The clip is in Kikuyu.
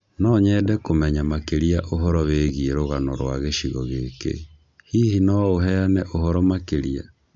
No nyende kũmenya makĩria ũhoro wĩgiĩ rũgano rwa gĩcigo gĩkĩ, hihi no ũheane ũhoro makĩria